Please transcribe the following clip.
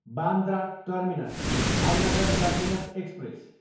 Bandra terminus, Bhavnagar terminus express